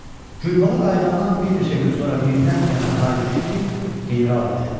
Gülbala qayıdandan bir neçə gün sonra birdən kəndə hay düşdü ki, general gəlib.